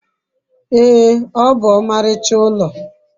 ee, o bu omaricha ulo